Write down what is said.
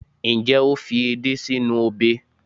njé o fi edé sí inú obe